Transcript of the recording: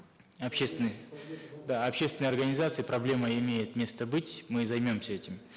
общественные да общественные организации проблема имеет место быть мы займемся этим